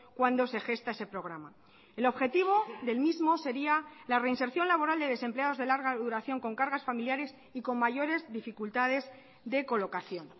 cuando se gesta ese programa el objetivo del mismo sería la reinserción laboral de desempleados de larga duración con cargas familiares y con mayores dificultades de colocación